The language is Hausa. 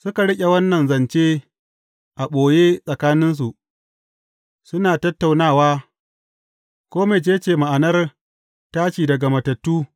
Suka riƙe wannan zance a ɓoye tsakaninsu, suna tattaunawa ko mece ce ma’anar tashi daga matattu.